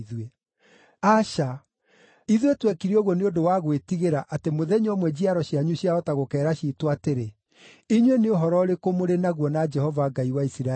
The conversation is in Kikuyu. “Aca! Ithuĩ twekire ũguo nĩ ũndũ wa gwĩtigĩra atĩ mũthenya ũmwe njiaro cianyu ciahota gũkeera ciitũ atĩrĩ, ‘Inyuĩ nĩ ũhoro ũrĩkũ mũrĩ naguo na Jehova Ngai wa Isiraeli?